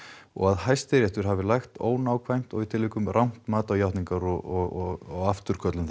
og að Hæstiréttur hafi lagt ónákvæmt og í tilvikum rangt mat á játningar og afturköllun